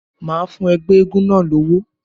Màá fún ẹgbẹ́ eégún náà lówó.